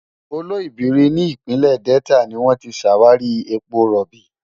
Oloibiri ní ìpínlẹ̀ Delta ni wọ́n ti ṣàwárí epo rọ̀bì.